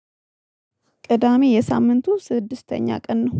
ቅዳሜ የሳምንቱ ስድስተኛ ቀን ነው።